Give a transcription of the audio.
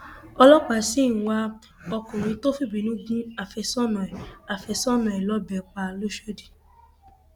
ọlọpàá sì ń wá ọkùnrin tó fìbínú gún àfẹsọnà ẹ àfẹsọnà ẹ lọbẹ pa lọsọdì